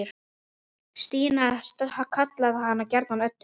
Stína kallaði hana gjarnan Öddu.